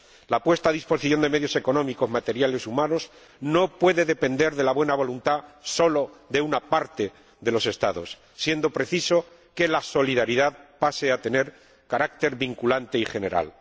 La puesta a disposición de medios económicos, materiales y humanos no puede depender de la buena voluntad solo de una parte de los Estados, siendo preciso que la solidaridad pase a tener carácter vinculante y general.